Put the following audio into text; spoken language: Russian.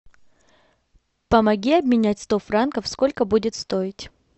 помоги обменять сто франков сколько будет стоить